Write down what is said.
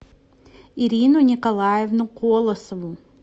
ирину николаевну колосову